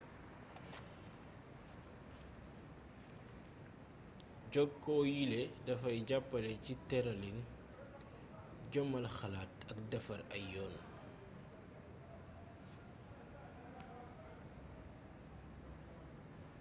jokkoo yiile dafay jàppale ci tëralin jëmmal xalaat ak defar ay yoon